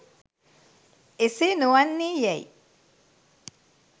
එසේ නොවන්නේ යැයි